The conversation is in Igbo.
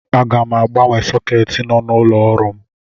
Aga m agbanwe sọketi nọ n'ụlọ ọrụ m.